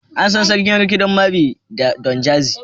An san Sarkin rikodin Mavin da Don Jazzy.